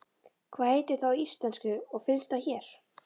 Hvað heitir það á íslensku og finnst það hér?